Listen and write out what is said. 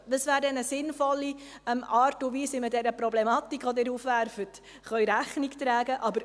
Dies wäre eine sinnvolle Art und Weise, wie man dieser Problematik, die Sie aufwerfen, Rechnung tragen kann.